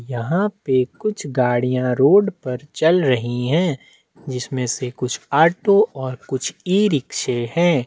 यहाँ पे कुछ गाड़ियां रोड पर चल रही है जिसमे से कुछ ऑटो और - कुछ ई रिक्शे है।